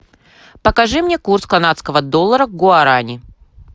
покажи мне курс канадского доллара к гуарани